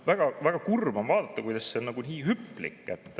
Väga kurb on vaadata, kuidas see olukord on nii hüplik.